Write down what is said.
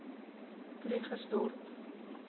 krugersdorp